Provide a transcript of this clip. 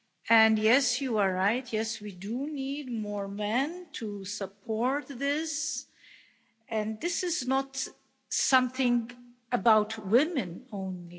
And yes, you are right yes, we do need more men to support this, and this is not something about women only.